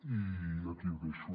i aquí ho deixo